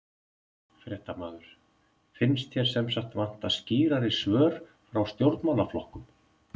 Fréttamaður: Finnst þér sem sagt vanta skýrari svör frá stjórnmálaflokkum?